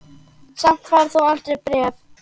Samt færð þú aldrei bréf.